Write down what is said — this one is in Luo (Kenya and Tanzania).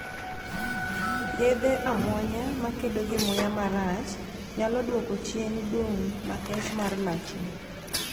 Yedhe amuonya makedo gi muya marach nyalo duoko chien dung' makech mar lachni.